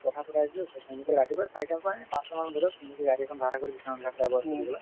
আৰু কথা পতাই দিলোঁ ৰাতিপুৱা চাৰিটা ৰ পৰা পাঁচটা মান বজাত গাড়ী এখন ভাৰা কৰি